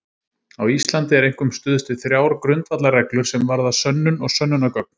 Á Íslandi er einkum stuðst við þrjár grundvallarreglur sem varða sönnun og sönnunargögn.